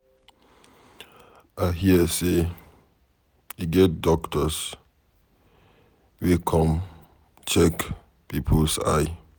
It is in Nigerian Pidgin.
I hear say e get doctors wey come check people eye.